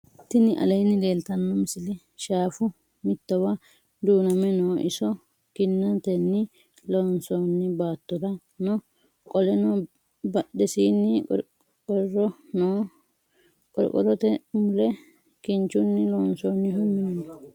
tini aleni leltano misile. shshafu mittowa dunname noo. iso kiinateni loonsoni battora noo qooleno badhesini qorqoro noo. qoriqorote mule kinchuni loonsonihu minu noo.